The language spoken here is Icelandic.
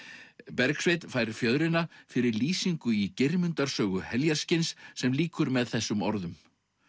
Bergsveinn fær fjöðrina fyrir lýsingu í Geirmundar sögu heljarskinns sem lýkur með þessum orðum